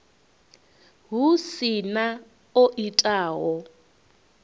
hu si na o itaho